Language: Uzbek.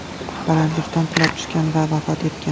balandlikdan qulab tushgan va vafot etgan.